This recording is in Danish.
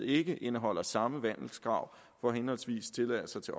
ikke indeholder samme vandelskrav for henholdsvis tilladelser til